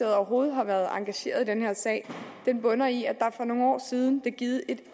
overhovedet har været engageret i den her sag bunder i at der for nogle år siden blev givet et